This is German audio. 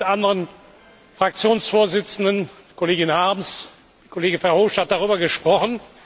Ich habe mit anderen Fraktionsvorsitzenden Kollegin Harms, Kollege Verhofstadt darüber gesprochen.